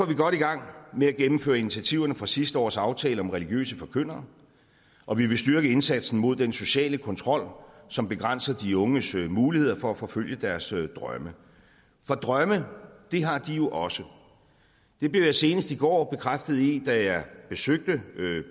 vi godt i gang med at gennemføre initiativerne fra sidste års aftale om religiøse forkyndere og vi vil styrke indsatsen mod den sociale kontrol som begrænser de unges muligheder for at forfølge deres drømme for drømme har de jo også det blev jeg senest i går bekræftet i da jeg besøgte